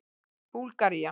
Búlgaría